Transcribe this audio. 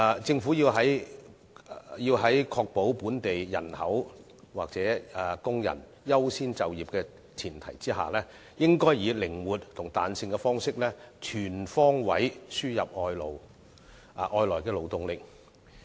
政府在確保本地人口或工人優先就業的前提下，應採取靈活及彈性方式，全方位輸入外來勞動力。